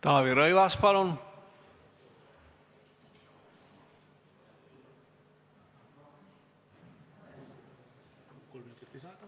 Taavi Rõivas, palun!